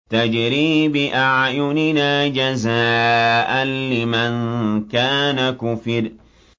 تَجْرِي بِأَعْيُنِنَا جَزَاءً لِّمَن كَانَ كُفِرَ